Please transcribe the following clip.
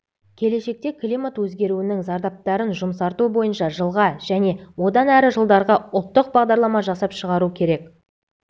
келешекте климат өзгеруінің зардаптарын жұмсарту бойынша жылға және одан әрі жылдарға ұлттық бағдарлама жасап шығару керек